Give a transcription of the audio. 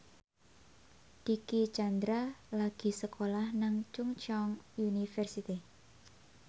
Dicky Chandra lagi sekolah nang Chungceong University